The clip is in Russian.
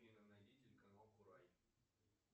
афина найди телеканал курай